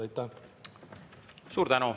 Aitäh!